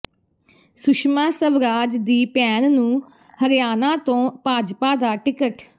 ਸੁਸ਼ਮਾ ਸਵਰਾਜ ਦੀ ਭੈਣ ਨੂੰ ਹਰਿਆਣਾ ਤੋਂ ਭਾਜਪਾ ਦਾ ਟਿਕਟ